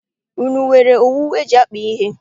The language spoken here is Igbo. Unu nwere owu eji akpa ihe?